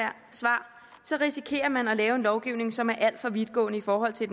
risikerer man at lave en lovgivning som er alt for vidtgående i forhold til